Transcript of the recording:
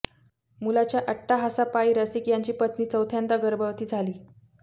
मुलाच्या अट्टाहासापायी रसिक यांची पत्नी चौथ्यांदा गर्भवती झाली